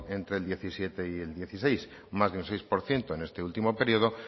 entre el diecisiete y el dieciséis más de un seis por ciento en este último periodo